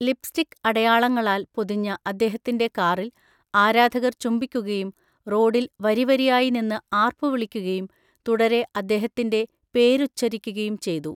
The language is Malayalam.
ലിപ്സ്റ്റിക്ക് അടയാളങ്ങളാൽ പൊതിഞ്ഞ അദ്ദേഹത്തിന്‍റെ കാറിൽ ആരാധകർ ചുംബിക്കുകയും, റോഡിൽ വരിവരിയായി നിന്ന് ആര്‍പ്പുവിളിക്കുകയും തുടരെ അദ്ദേഹത്തിന്‍റെ പേരുച്ചരിക്കുകയും ചെയ്തു.